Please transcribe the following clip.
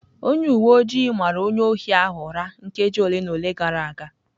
Onye uwe ojii mara onye ohi ahụ ụra nkeji ole na ole gara aga